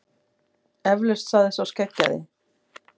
Eflaust, sagði sá skeggjaði.